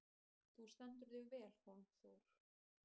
Þú stendur þig vel, Hólmþór!